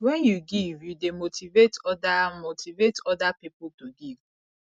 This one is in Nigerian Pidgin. wen yu give yu dey motivate oda motivate oda pipo to give